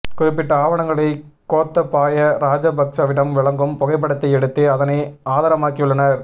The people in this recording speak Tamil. குறிப்பிட்ட ஆவணங்களை கோத்தபாய ராஜபக்சவிடம் வழங்கும் புகைப்படத்தை எடுத்து அதனை ஆதாரமாக்கியுள்ளனர்